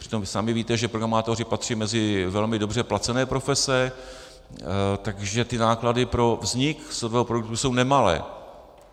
Přitom sami víte, že programátoři patří mezi velmi dobře placené profese, takže ty náklady pro vznik softwarového produktu jsou nemalé.